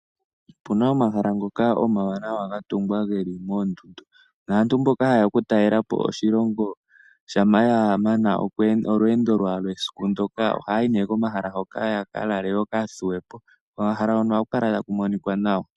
Opu na omahala ngoka omawanawa ga tungwa ge li moondundu, naantu mboka haye ya okutalela po oshilongo shampa ya mana olweendo lwawo lwesiku ndyoka ohaya yi komahala ngoka ya ka lale yo ya thuwe po. Komahala hono ohaku kala ta ku monika nawa.